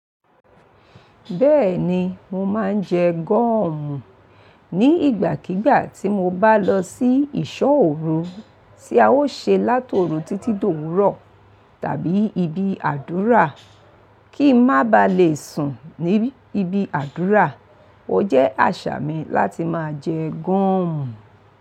Bẹ́ẹ̀ni, mo máa ń jẹ gọ́ọ̀mù ní ìgbàkígbà tí mo bá lọ sí ìṣọ́ òru, tí a ó ṣe látòòru títí d'òwúrọ̀ tàbí ibi àdúrà, kí ń má ba le sùn ní ibi àdúrà. Ó jẹ́ àṣà mi láti máa jẹ gọ́ọ̀mù.